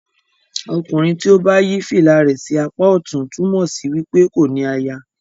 ọkùnrin tí o bá yí fìlà rẹ sí apa ọtún túmọ sí wípé kò ní àyà.